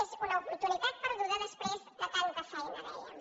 és una oportunitat perduda després de tanta feina dèiem